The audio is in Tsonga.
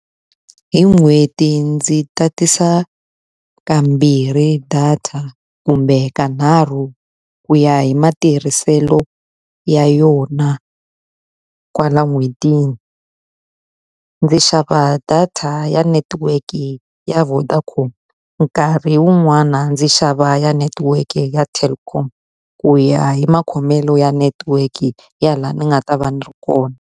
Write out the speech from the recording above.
Hi n'hweti ndzi tatisa kambirhi data kumbe ka nharhu ku ya hi matirhiselo ya yona kwala n'hwetini. Ndzi xava data ya netiweke ya Vodacom, nkarhi wun'wana ndzi xava ya netiweke ya Telkom. Ku ya hi makhomelo ya network ya laha ni nga ta va ni ri kona.